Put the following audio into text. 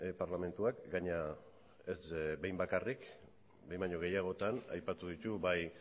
parlamentuak gainera ez behin bakarrik behin baino gehiagotan aipatu ditu bai